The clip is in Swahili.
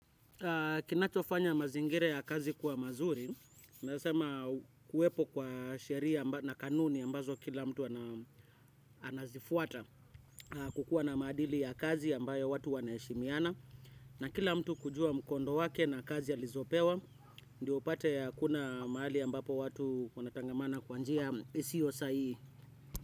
Kinachofanya mazingira ya kazi kuwa mazuri, nasema kuwepo kwa sheria na kanuni ambazo kila mtu anazifuata kukua na maadili ya kazi ambayo watu wanaheshimiana. Na kila mtu kujua mkondo wake na kazi alizopewa, ndio upate hakuna mahali ambapo watu wanatangamana kwa njia isio sahihi.